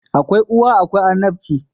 Akwai uwa akwai annabci